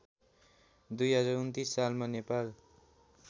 २०२९ सालमा नेपाल